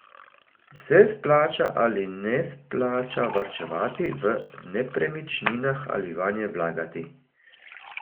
Se splača ali ne splača varčevati v nepremičninah ali vanje vlagati?